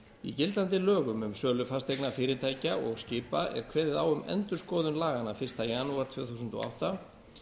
í gildandi lögum um sölu fasteigna fyrirtækja og skipa er kveðið á um endurskoðun laganna fyrsta janúar tvö þúsund og átta